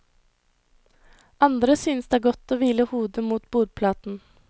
Andre synes det er godt å hvile hodet mot bordplaten.